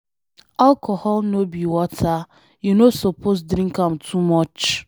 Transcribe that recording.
Alcohol no be water, you no suppose drink am too much.